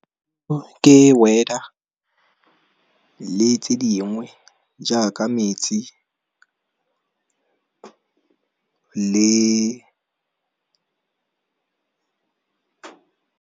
Ke weather le tse dingwe jaaka metsi le.